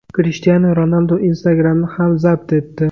Krishtianu Ronaldu Instagram’ni ham zabt etdi.